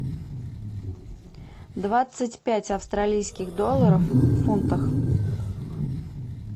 двадцать пять австралийских долларов в фунтах